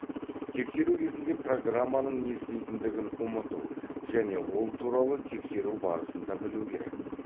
тексеру кезінде программаның не істейтіндігін ұмыту және ол туралы тексерру барысында білу керек